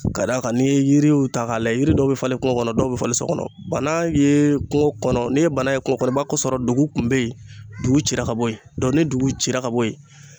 Ka d'a kan n'i ye yiriw ta k'a la yiri dɔw bɛ falen kungo kɔnɔ dɔw bɛ falen so kɔnɔ bana ye kungo kɔnɔ ne ye bana ye kungo kɔnɔ i b'a sɔrɔ dugu kun bɛ yen dugu cira ka bɔ yen ni dugu cira ka bɔ yen.